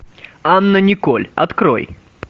анна николь открой